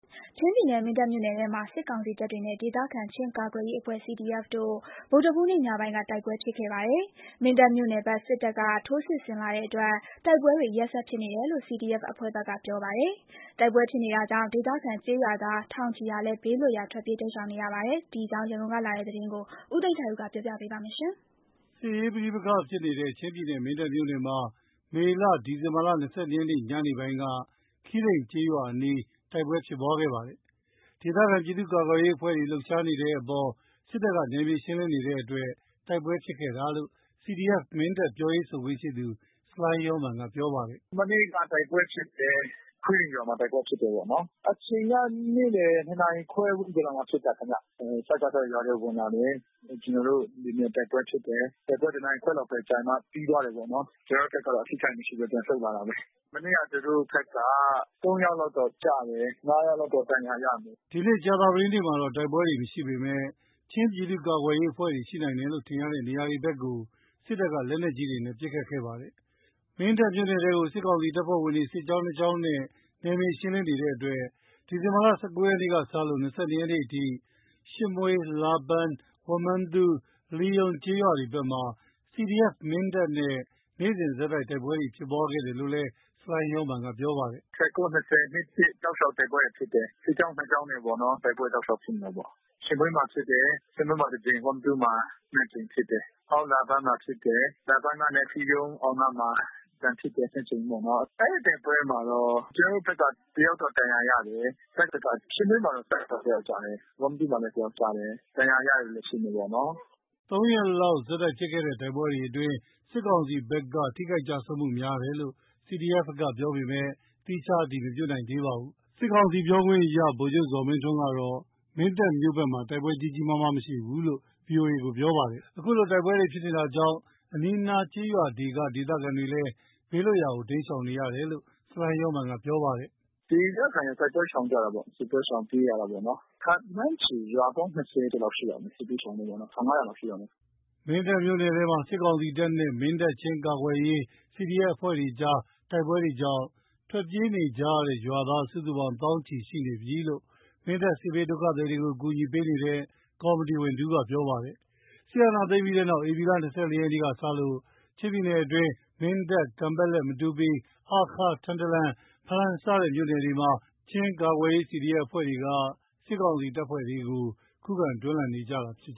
ချင်းပြည်နယ်၊ မင်းတပ်မြို့နယ်ထဲမှာ စစ်ကောင်စီတပ်တွေနဲ့ ဒေသခံ ချင်းကာကွယ်ရေးအဖွဲ့ CDF တို့ ဗုဒ္ဓဟူးနေ့ ညပိုင်းက တိုက်ပွဲဖြစ်ခဲ့ပါတယ်။ မင်းတပ်မြို့နယ် ဘက် စစ်တပ်က ထိုးစစ်ဆင်လာတဲ့အတွက် တိုက်ပွဲတွေ ရက်ဆက်ဖြစ်နေတယ် လို့ CDF အဖွဲ့ဘက်က ပြောပါတယ်။ တိုက်ပွဲဖြစ်နေတာကြောင့် ဒေသခံကျေးရွာသား ထောင်ချီဟာလည်း ဘေးလွတ်ရာ ထွက်ပြေးတိမ်းရှောင်နေရပါတယ်။ ဒီအကြောင်း ရန်ကုန်ကလာတဲ့သတင်းကို ကိုသိန်းထိုက်ဦးက တင်ပြပေးထားပါတယ်။ စစ်ရေးပဋိပက္ခဖြစ်နေတဲ့ ချင်းပြည်နယ်၊ မင်းတပ်မြို့နယ်မှာ မနေ့ ဒီဇင်ဘာ ၂၂ ရက် ညနေပိုင်းက ခွီးရိန်ကျေးရွာအနား တိုက်ပွဲဖြစ်ခဲ့ပါတယ်။ ဒေသခံပြည်သူ့ ကာကွယ်ရေးအဖွဲ့တွေ လှုပ်ရှားတဲ့နေရာတွေအပေါ် စစ်တပ်က နယ်မြေရှင်းလင်းနေတဲ့အတွက် တိုက်ပွဲဖြစ်ခဲ့တာလို့ CDF-Mindat ပြောရေးဆိုခွင့်ရှိသူ ဆလိုင်းယောမန်က ပြောပါတယ်။ “မနေ့ကတိုက်ပွဲဖြစ်တယ်။ ခွီးရိန်ရွာမှာ တိုက်ပွဲဖြစ်တာပေါ့နော်။ အချိန်က နေ့လည် ၂ နာရီခွဲလောက်မှာ ဖြစ်တယ်ခင်ဗျ။ စကစ ရွာထဲဝင်လာတယ်။ ကျနော်တို့တွေနဲ့တိုက်ပွဲဖြစ်တယ်။ တိုက်ပွဲ တနာရီခွဲလောက်ပဲကြာသွား ပြီးသွားတာပေါ့နော်။ ကျနော်တို့ဘက်က အထိခိုက်မရှိဘဲ ပြန်ဆုတ်လာတာပဲ။ မနေ့က သူတို့ဘက်က ၃ ယောက်လောက်တော့ကျတယ်။ ၅ ယောက်လောက်တော့ ဒဏ်ရာရတယ်။’’ ဒီနေ့ ကြာသပတေးနေ့မှာတော့ တိုက်ပွဲတွေမရှိပေမဲ့ ချင်းပြည်သူ့ကာကွယ်ရေးအဖွဲ့တွေ ရှိနိုင်တယ်လို့ ထင်ရတဲ့နေရာတွေဘက်ကို စစ်တပ်က လက်နက်ကြီးနဲ့ ပစ်ခတ်ခဲ့ပါတယ်။ မင်းတပ်မြို့နယ်ထဲကို စစ်ကောင်စီတပ်ဖွဲ့ဝင်တွေ စစ်ကြောင်း နှစ်ကြောင်းနဲ့ နယ်မြေရှင်းလင်းနေတဲ့အတွက် ဒီဇင်ဘာလ ၁၉ ရက်နေ့ကစလို့ ၂၂ ရက်နေ့အထိ ရှစ်မွှေး၊ လာပန်း၊ ဝမ္မသူး၊ လှိရုံးကျေးရွာတွေဘက်မှာ CDF-Mindat နဲ့ နေ့စဉ်ဆက်တိုက် တိုက်ပွဲဖြစ်ခဲ့တယ်လို့လည်း ဆလိုင်းယောမာန်က ပြောပါတယ်။ “၁၉၊ ၊၂၀၊ ၂၁ တောက်လျှောက် တိုက်ပွဲတွေဖြစ်တယ်။ စစ်ကြောင်းနှစ်ကြောင်းနဲ့ပေါ့နော်။ တိုက်ပွဲတောက်လျှောက်ဖြစ်နေတာပေါ့။ ရှစ်မွေးမှာဖြစ်တယ်။ ရှစ်မွေးမှာတကြိမ်၊ ဝမ္မသူးမှာနှစ်ကြိမ်ဖြစ်တယ်။ နောက် လာပန်းမှာဖြစ်တယ်။ လာပန်းနဲ့ လှိရုံးအောက်နားမှာ ပြန်ဖြစ်တယ်၊ နှစ်ကြိမ်ပေါ့နော်။ အဲဒီတိုက်ပွဲမှာတော့ ကျနော်တို့ဘက်က တယောက်လောက်ဒဏ်ရာရတယ်။ ရှစ်မွေးမှာတော့ တပ်ဘက်က တယောက်ကျတယ်။ ဝမ္မသူးမှာ တယောက်ကျတယ်။ ဒဏ်ရာရတဲ့သူတော့ရှိမှာပေါ့နော်။’’ သုံးရက်လောက်ဆက်တိုက်ဖြစ်တဲ့ တိုက်ပွဲတွေအတွင်း စစ်ကောင်စီတပ်ဘက်က ထိခိုက်ကျဆုံးမှုများတယ်လို့ CDFဘက်က ပြောပေမယ့် သီးခြားအတည်မပြုနိုင်သေးပါဘူး။ စစ်ကောင်စီပြောခွင့်ရ ဗိုလ်ချုပ်ဇော်မင်းထွန်းကတော့ မင်းတပ်မြို့ဘက်မှာ တိုက်ပွဲကြီးကြီးမားမား မရှိဘူးလို့ ဗွီအိုအေကိုပြောပါတယ်။ ခုလိုတိုက်ပွဲတွေဖြစ်နေတာကြောင့် အနီးအနား ကျေးရွာတွေက ဒေသခံတွေလည်း ဘေးလွတ်ရာတိမ်းရှောင်နေရတယ်လို့ ဆလိုင်းယောမာန်ကပြော ပါတယ်။ “ဒေသခံတွေ တိုက်ပွဲရှောင်ကြတာပေါ့။ စစ်ပွဲရှောင်ပြေးရတာပေါ့နော်။ ခန့်မှန်းခြေရွာပေါင်း ၂၀ ကျော်လောက် ရှိတာပေါ့။ စစ်ဘေးရှောင်ရွာသား ၁,၅၀၀ လောက်ရှိတာပေါ့။’’ မင်းတပ်မြို့နယ်ထဲမှာ စစ်ကောင်စီတပ်နဲ့ မင်းတပ်၊ ချင်းကာကွယ်ရေး CDF အဖွဲ့တွေအကြား တိုက်ပွဲကြောင့် ထွက်ပြေးနေကြရတဲ့ ရွာသားစုစုပေါင်း သောင်းချီရှိနေပြီလို့ မင်းတပ် စစ်ဘေးဒုက္ခသည်တွေကို အကူအညီပေးနေတဲ့ ကော်မတီဝင်တဦးကပြောပါတယ်။ စစ်အာဏာသိမ်းပြီးနောက် ဧပြီလ ၂၄ ရက်နေ့ကစလို့ ချင်းပြည်နယ်အတွင်း မင်းတပ်၊ ကန်ပက်လက်၊ မတူပီ၊ ဟားခါး၊ ထန်တလန်၊ ဖလမ်း စတဲ့မြို့နယ်တွေမှာ ချင်းကာကွယ်ရေး CDF အဖွဲ့တွေက စစ်ကောင်စီတပ်ဖွဲ့တွေကို ခုခံတော်လှန်နေကြတာဖြစ်